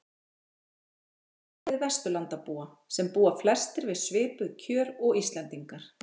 Við skulum miða við Vesturlandabúa, sem búa flestir við svipuð kjör og Íslendingar.